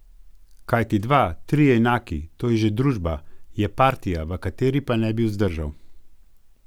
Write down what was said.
Kajti dva, trije enaki, to je že družba, je partija, v kateri pa ne bi vzdržal.